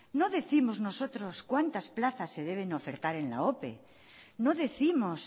no décimos nosotros cuántas plazas se deben de ofertar en la ope no décimos